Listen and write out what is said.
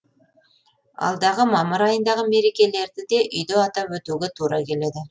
алдағы мамыр айындағы мерекелерді де үйде атап өтуге тура келеді